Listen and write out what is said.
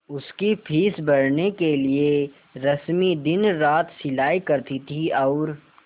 उसकी फीस भरने के लिए रश्मि दिनरात सिलाई करती थी और